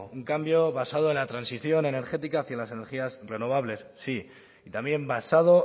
un cambio basado en la transacción energética hacia las energías renovables sí y también basado